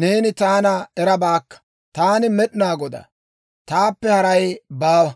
neeni taana erabaakka. Taani Med'inaa Godaa; taappe haray baawa.